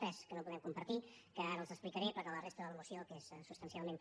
tres que no podem compartir que ara els explicaré però la resta de la moció que és substancialment